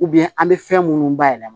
an bɛ fɛn minnu bayɛlɛma